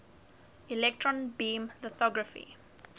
electron beam lithography